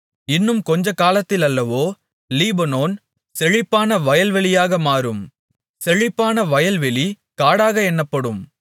இன்னும் கொஞ்ச காலத்திலல்லவோ லீபனோன் செழிப்பான வயல்வெளியாக மாறும் செழிப்பான வயல்வெளி காடாக என்னப்படும்